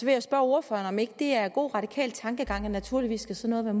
jeg spørge ordføreren om det ikke er god radikal tankegang at naturligvis skal sådan